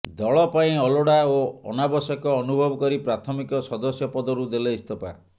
ଦଳ ପାଇଁ ଅଲୋଡ଼ା ଓ ଅନାବଶ୍ୟକ ଅନୁଭବ କରି ପ୍ରାଥମିକ ସଦସ୍ୟ ପଦରୁ ଦେଲେ ଇସ୍ତଫା